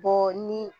Bɔ ni